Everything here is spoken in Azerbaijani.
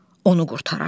Onu qurtarar.